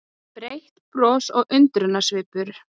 Breitt bros og undrunarsvipur.